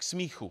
K smíchu!